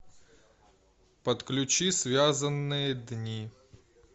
подключи связанные дни